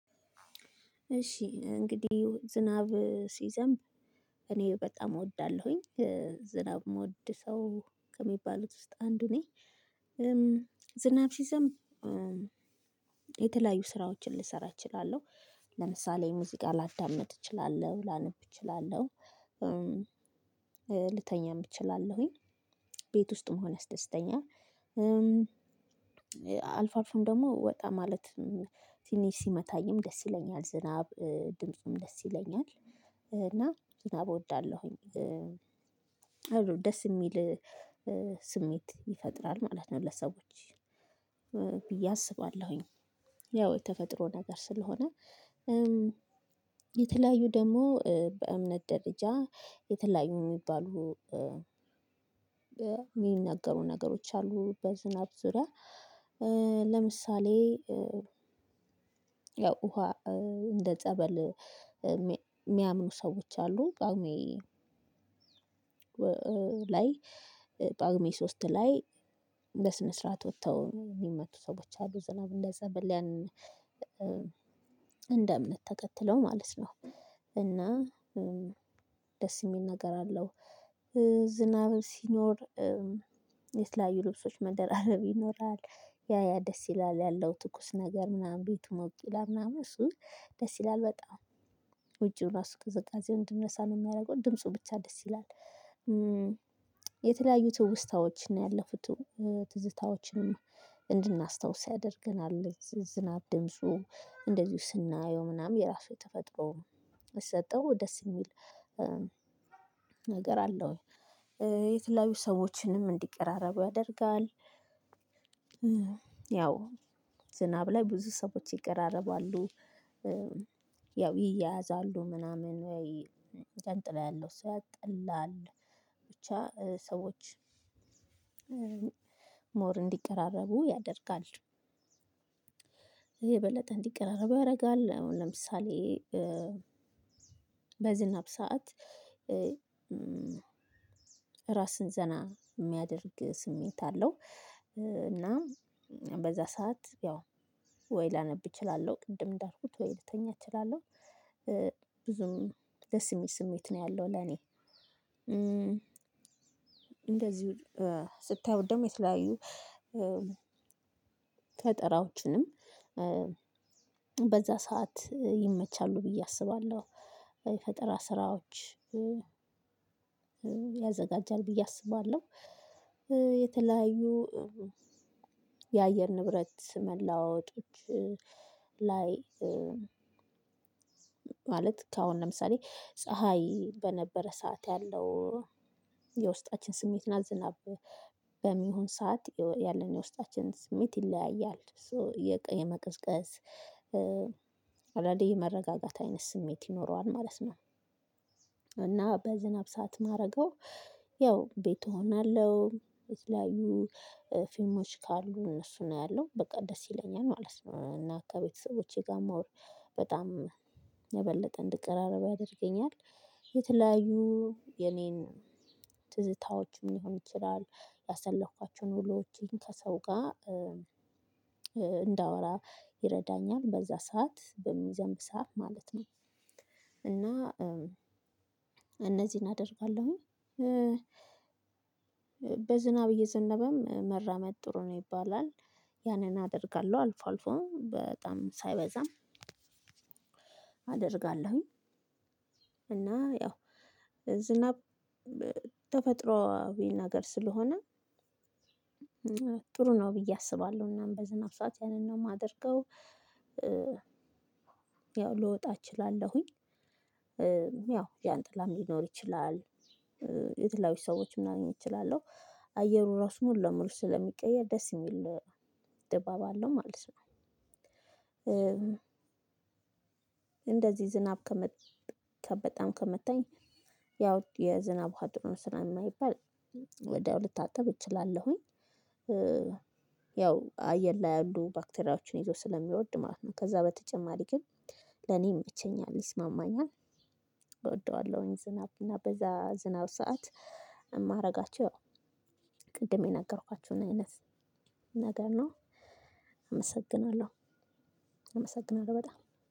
እሺ እንግዲህ ዝናብ ሲዘንብ እኔ በጣም እወዳለሁኝ ዝናብ ምወድ ሰው ከሚባሉት ውስጥ አንዱ ነኝ። ዝናብ ሲዘምብ የተለያዩ ስራዎችን ልሰራ እችላለሁ። ለምሳሌ ሙዚቃ ላዳምጥ እችላለሁ ላነብ እችላለሁ። ልተኛም እችላለሁኝ። ቤት ውስጥ መሆን ያስደስተኛል። አልፎ አልፎም ደሞ ወጣ ማለት ትንሽ ሲመታኝም ደስ ይለኛል። ዝናብ ድምፁም ደስ ይለኛል እና ዝናብ እወዳለሁኝ። አዎ ደስ የሚል ስሜት ይፈጥራል ማለት ነው ለሰዎች ብዬ አስባለሁኝ። ያው የተፈጥሮ ነገር ስለሆነ። የተለያዩ ደሞ በእምነት ደረጃ የተለያዩ ሚባሉ የሚናገሩ ነገሮች አሉ በዝናብ ዙሪያ። ለምሳሌ ያው ውሃ እንደ ጸበል ሚያምኑ ሰዎች አሉ። ጷጉሜ ላይ ጷጉሜ ሶስት ላይ በስነ ስርዓት ወተው ሚመቱ ሰዎች አሉ። ዝናብ እንደዛ ብለን እንደ እምነት ተከከትለው ማለት ነው። እና ደስ ሚል ነገር አለው። ዝናብ ሲኖር የተለያዩ ልብሶች መደራረብ ይኖራል። ያ ያ ደስ ይላል ያለው ትኩስ ነገር ምናምን ቤቱ ሞቅ ይላል ምናምን እሱም ደስ ይላል በጣም ውጪው ራሱ ቅዝቃዜውን እንድንረሳ ነው ሚያረገው ድምፁ ብቻ ደስ ይላል። የተለያዩ ትውስታዎችን ነው ያለፉቱ ትዝታዎችንም እንድናስታውስ ያደርገናል። ዝናብ ድምፁ እንደዚሁ ስናየው ምናምን የራሱ የተፈጥሮ የሰጠው ደስ የሚል ነገር አለው። የተለያዩ ሰዎችንም እንዲቀራረቡ ያደርጋል። ያው ዝናብ ላይ ብዙ ሰዎች ይቀራረባሉ። ያው ይያያዛሉ ምናምን ወይ ዣንጥላ ያለው ሰው ያጠላል ብቻ ሰዎች ሞር እንዲቀራረቡ ያደርጋል። ይህ የበለጠ እንዲቀራረቡ ያረጋል አሁን ለምሳሌ በዝናብ ሰዓት ራስን ዘና ሚያደርግ ስሜት አለው። እና በዛ ሰዓት ያው ወይ ላነብ እችላለሁ ቅድም እንዳልኩት ወይ ልተኛ እችላለሁ። ብዙም ደስ የሚል ስሜት ነው ያለው ለኔ እንደዚሁ ስታዩት ደሞ የተለያዩ ፈጠራዎችንም በዛ ሰዓት ይመቻሉ ብዬ አስባለሁ። የፈጠራ ስራዎች ያዘጋጃል ብዬ አስባለሁ። የተለያዩ የአየር ንብረት መለዋወጦች ላይ ማለት ከአሁን ለምሳሌ ፀሀይ በነበረ ሰዓት ያለው የውስጣችን ስሜት እና ዝናብ በሚሆን ሰዓት ያለን የውስጣችን ስሜት ይለያያል ሶ የጠ የመቀዝቀዝ አንዳንዴ የመረጋጋት አይነት ስሜት ይኖረዋል ማለት ነው። እና በዝናብ ሰዓት ማረገው ያው ቤት እሆናለሁ የተለያዩ ፊልሞች ካሉ እነሱን አያለሁ በቃ ደስ ይለኛል ማለት ነው። እና ከቤተሰቦቼ ጋር ሞር በጣም የበለጠ እንድቀራረብ ያደርገኛል። የተለያዩ የኔን ትዝታዎችም ሊሆን ይችላል ያሳለፍኩዋቸውን ዉሎች ክሰው ጋር እንዳወራ ይረዳኛል። በዛ ሰዓት በሚዘንብ ሰዓት ማለት ነው። እና እነዚህን አደርጋለሁኝ። በዝናብ እየዘነበም መራመድ ጥሩ ነው ይባላል። ያንን አደርጋለው አልፎ አልፎ በጣም ሳይበዛ አደርጋለሁኝ። እና ያው ዝናብ ተፈጥሮአዊ ነገር ስለሆነ ጥሩ ነው ብዬ አስባለሁ። እናም በዝናብ ሰዓት ያንን ነው ማደርገው። ያው ልወጣ እችላለሁኝ። ያው ዣንጥላም ሊኖር ይችላል። የተለያዩ ሰዎች ላገኝ እችላለው። አየሩ ራሱ ሙሉ ለሙሉ ስለሚቀየር ደስ የሚል ድባብ አለው ማለት ነው። እንደዚህ ዝናብ ከመጣ ከ በጣም ከመታኝ ያው የዝናብ ውሃ ጥሩ ነው ስለማይባል ወዲያው ልታጠብ እችላለሁኝ። ያው አየር ላይ ያሉ ባክቴሪያዎችን ይዞ ስለሚወርድ ማለት ነው። ከዛ በተጨማሪ ግን ለኔ ይመቸኛል ይስማማኛል። እወደዋለሁኝ ዝናብ እና በዛ ዝናብ ሰዓት እማረጋቸው ያው ቅድም የነገርኳችሁን አይነት ነገር ነው። አመሰግናለሁ አመሰግናለሁ በጣም።